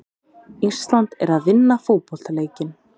Ísland er að vinna fótboltaleikinn.